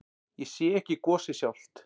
Ég sé ekki gosið sjálft.